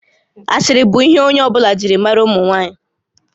Asịrị bụ ihe onye ọ bụla jiri maara ụmụ nwaanyị